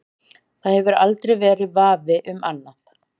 Það hefur aldrei verið vafi um annað.